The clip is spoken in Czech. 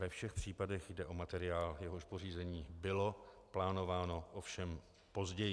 Ve všech případech jde o materiál, jehož pořízení bylo plánováno, ovšem později.